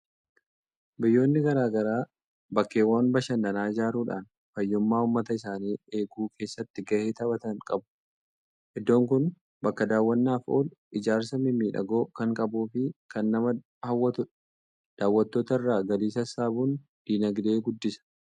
Biyyoonni garaa garaa bakkeewwan bashannanaa ijaaruudhaan, fayyummaa uummata isaanii eeguu keessatti gahee taphatan qabu. Iddoon kun bakka daawwannaaf oolu, ijaarsa mimmiidhagoo kan qabuu fi kan nama hawwatudha! Daawwattoota irraa galii sassaabuun dinagdee guddisa.